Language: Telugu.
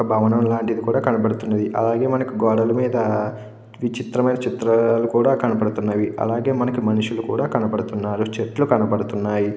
ఒక భవనం లాంటిది కూడా కనబడుతుంది అలాగే మనకి గోడల మీద చిత్రమైన చిత్రాలు కూడా కనబడుతున్నాయి అలాగే మనకి మనుషులు కూడా కనపడుతున్నారు.